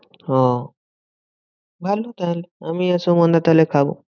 ওহ ভালো তাহলে আমি আর সুমানদা তাহলে খাবো।